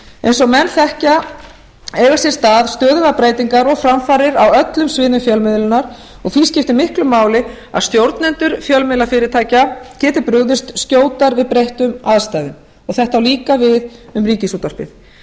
eins og menn þekkja eiga sér stað stöðugar breytingar og framfarir á öllum sviðum fjölmiðlunar og því skiptir miklu máli að stjórnendur fjölmiðlafyrirtækja geti brugðist skjótar við breyttum aðstæðum þetta á líka við um ríkisútvarpið